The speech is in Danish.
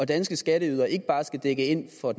danske skatteydere ikke bare skal dække ind for